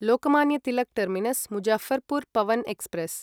Lokmanya Tilak terminus Muzaffarpur Pawan express